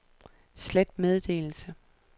slet meddelelse